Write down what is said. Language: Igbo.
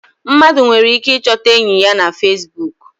Mmadụ nwere ike I chọta enyị ya na Fesbụụk.